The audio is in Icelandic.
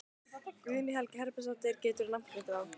Guðný Helga Herbertsdóttir: Geturðu nafngreint þá?